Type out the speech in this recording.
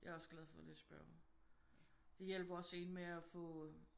Jeg er også glad for at læse bøger. Det hjælper også en med at få